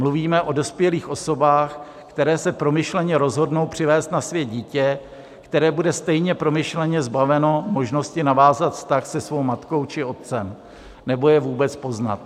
Mluvíme o dospělých osobách, které se promyšleně rozhodnou přivést na svět dítě, které bude stejně promyšleně zbaveno možnosti navázat vztah se svou matkou či otcem nebo je vůbec poznat.